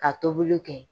Ka tobiliw kɛ